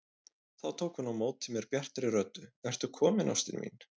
Þá tók hún á móti mér bjartri röddu: Ertu kominn ástin mín!